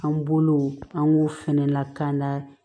An bolow an k'u fɛnɛ lakana